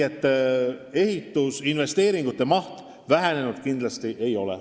Ehitusinvesteeringute maht kindlasti vähenenud ei ole.